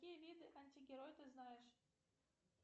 какие виды антигероев ты знаешь